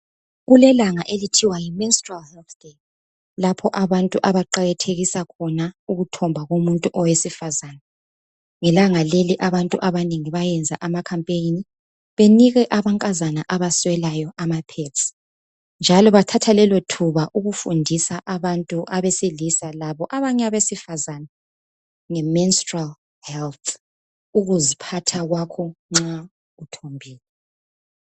Kulelanga okuthiwa yi menstrual health day lapho abantu abaqakathekisa khona ukuthomba komuntu owesifazana. Ngelanga leli abantu abanengi bayenza amkhampeyini benike amankazana abaswelayo amapads njalo bathatha lelothuba ukufundisa abantu abesilisa labanye abesifazana ngemenstrual health, ukuziphatha kwakho nxa uthombile.